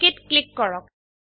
অক click কৰক